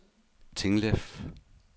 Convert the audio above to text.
Tinglev